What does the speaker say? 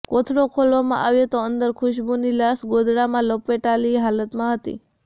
કોથળો ખોલવામાં આવ્યો તો અંદર ખુશ્બુની લાશ ગોદડામાં લપેટાયેલી હાલતમાં હતી